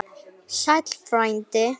Sæll frændi!